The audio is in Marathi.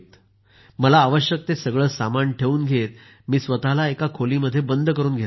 मला आवश्यक ते सगळं सामान ठेवून घेतमी स्वतःला खोलीत बंद करुन घेतलं होतं